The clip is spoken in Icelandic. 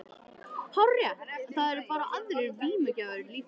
Hárrétt, en það eru bara aðrir vímugjafar líka.